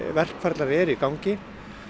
verkferlar eru í gangi